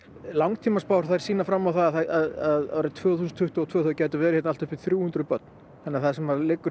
langtíma spár sýna fram á að árið tvö þúsund tuttugu og tvö gætu verið allt að þrjú hundruð börn þannig það sem liggur